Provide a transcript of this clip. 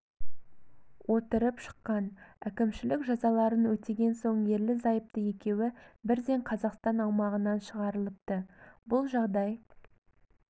отырып шыққан әкімшілік жазаларын өтеген соң ерлі зайыпты екеуі бірден қазақстан аумағынан шығарылыпты бұл жағдай